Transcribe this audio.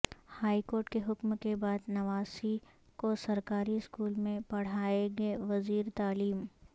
high court کے حکم کے بعد نواسی کو سرکاری اسکول میں پڑھاےگے وزیر تعلیم